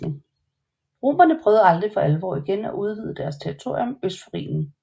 Romerne prøvede aldrig for alvor igen at udvide deres territorium øst for Rhinen